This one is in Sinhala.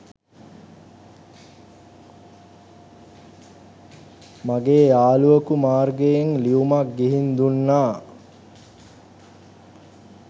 මගේ යාළුවකු මාර්ගයෙන් ලියුමක් ගිහින් දුන්නා